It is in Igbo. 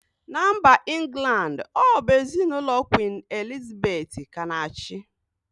Na mba England ọ bụ ezinụlọ kwin Elizabeth ka na-achị